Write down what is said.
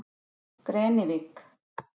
Grenivík